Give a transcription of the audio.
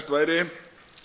væri